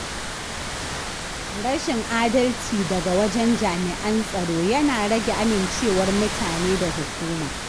Rashin adalci daga wajen jami’an tsaro yana rage amincewar mutane da hukuma.